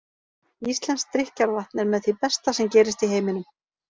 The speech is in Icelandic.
Íslenskt drykkjarvatn er með því besta sem gerist í heiminum.